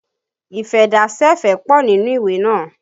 Ìfẹ́dásẹ̀fẹ̀ pọ nínú ìwé naa